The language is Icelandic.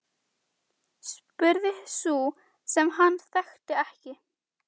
Hún stóð í dyrunum og starði á þrjá hraustlega stráka.